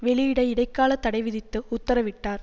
வெளியிட இடைக்கால தடைவிதித்து உத்தரவிட்டார்